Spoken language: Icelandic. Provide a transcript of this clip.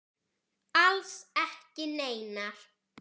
Alls ekki neinar.